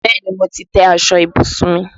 Bẹ́ẹ̀ni, mo ti tẹ́ aṣọ ìbùsùn mi.